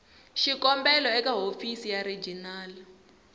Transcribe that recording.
xikombelo eka hofisi ya regional